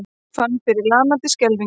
Ég fann fyrir lamandi skelfingu.